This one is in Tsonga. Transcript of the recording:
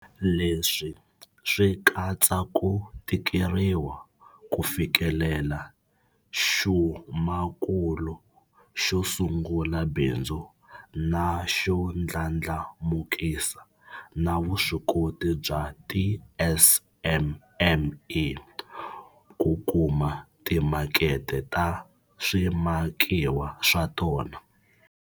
Leswi swi katsa ku tikeriwa ku fikelela xumakulu xo sungula bindzu na xo ndlandlamukisa na vuswikoti bya tiSMME ku kuma timakete ta swimakiwa swa tona.